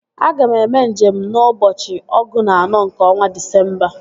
Aga m eme nje m n'ụbọchị ọgụ na anọ nke ọnwa Disemba